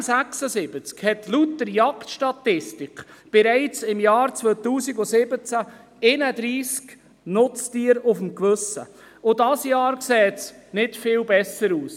Der M76 hat laut der Jagdstatistik bereits im Jahr 2017 31 Nutztiere auf dem Gewissen, und dieses Jahr sieht es nicht viel besser aus.